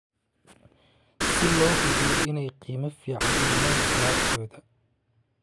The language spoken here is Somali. si loo hubiyo inay qiimo fiican u helaan alaabtooda.